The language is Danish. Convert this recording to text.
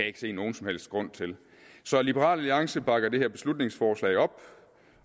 ikke se nogen som helst grund til så liberal alliance bakker det her beslutningsforslag op